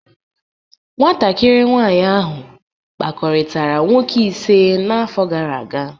Nwatakịrị nwanyị ahụ kpakọrịtara nwoke ise n'afọ gara aga